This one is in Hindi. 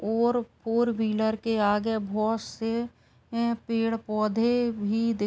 और फोर व्हीलर के आगे बहुत से पेड़ पौधे भी दि --